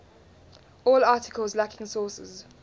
all articles lacking sources